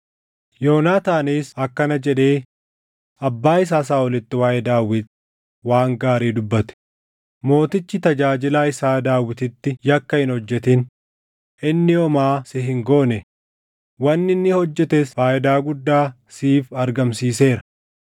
Yoonaataanis akkana jedhee abbaa isaa Saaʼolitti waaʼee Daawit waan gaarii dubbate; “Mootichi tajaajilaa isaa Daawititti yakka hin hojjetin; inni homaa si hin goone; wanni inni hojjetes faayidaa guddaa siif argamsiiseera.